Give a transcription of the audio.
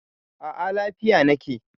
A a, lafiya na ke.